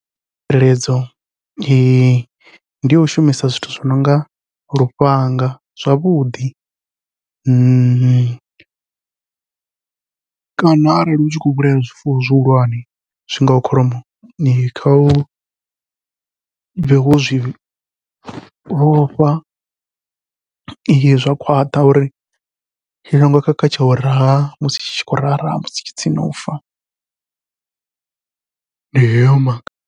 Tsireledzo ndi yau shumisa zwithu zwi nonga lufhanga zwavhuḓi, kana arali u tshi khou vhulaya zwifuwo zwihulwane zwi ngaho kholomo, kha u bve wo zwi vhofha zwa khwaṱha uri i songo khakha tsha u raha musi tshi khou raha raha musi tshi tsini nau fa ndi hayo maga.